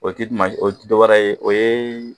O tɛ dɔwɛrɛ ye o ye